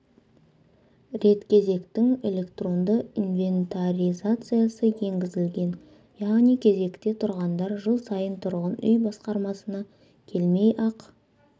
рет кезектің электронды инвентаризациясы енгізілген яғни кезекте тұрғандар жыл сайын тұрғын үй басқармасына келмей ақ